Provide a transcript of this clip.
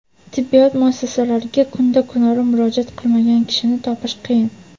tibbiyot muassasalariga kunda-kunora murojaat qilmagan kishini topish qiyin.